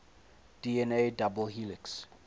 dna double helix